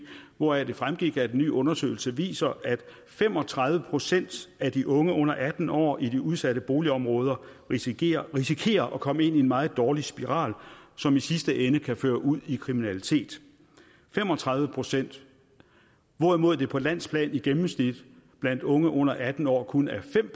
hvoraf det fremgik at en ny undersøgelse viser at fem og tredive procent af de unge under atten år i de udsatte boligområder risikerer risikerer at komme ind i en meget dårlig spiral som i sidste ende kan føre ud i kriminalitet fem og tredive procent hvorimod det på landsplan i gennemsnit blandt unge under atten år kun er fem